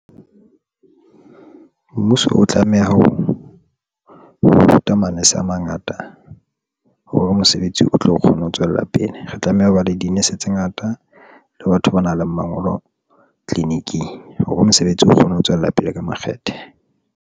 Mmuso o tlameha o ruta manese a mangata hore mosebetsi o tlo kgone ho tswella pele. Re tlameha ho ba le di-nurse tse ngata le batho ba nang le mangolo tleliniking hore mosebetsi o kgone ho tswella pele ka makgethe.